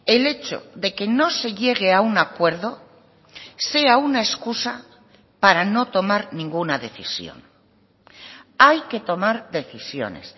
el hecho de que no se llegue a un acuerdo sea una excusa para no tomar ninguna decisión hay que tomar decisiones